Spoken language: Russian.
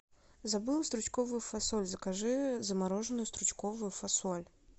забыла стручковую фасоль закажи замороженную стручковую фасоль